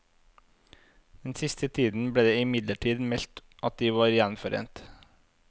Den siste tiden ble det imidlertid meldt at de var gjenforent.